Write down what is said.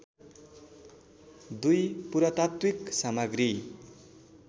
दुई पुरातात्विक सामग्री